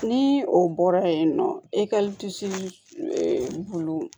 Ni o bɔra yen nɔ e ka bulu